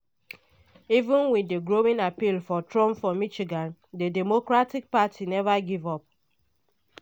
even wit di growing appeal for trump for michigan di democratic party neva give up.